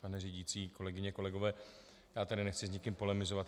Pane řídící, kolegyně, kolegové, já tady nechci s nikým polemizovat.